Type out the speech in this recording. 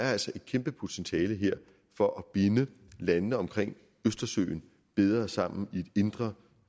er et kæmpe potentiale her for at binde landene omkring østersøen bedre sammen i et indre